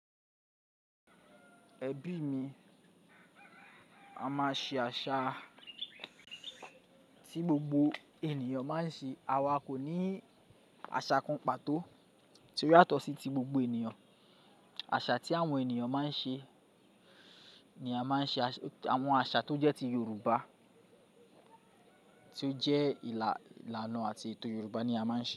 Ẹbí mi, a máa ṣe àṣà tí gbogbo ènìyàn máa ń ṣe. A kò ní àṣà kan pàtó tí ó yàtọ̀ sí ti gbogbo ènìyàn. Àṣà tí àwọn ènìyàn máa ń ṣe ni a máa ń ṣe. Àwọn àṣà tó jẹ́ ti Yorùbá, tí ó jẹ́ ìlànà àti ètò Yorùbá ni a máa ń ṣe.